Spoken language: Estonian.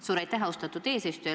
Suur aitäh, austatud eesistuja!